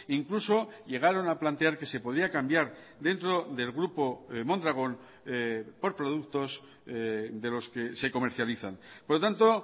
incluso llegaron a plantear que se podía cambiar dentro del grupo mondragón por productos de los que se comercializan por lo tanto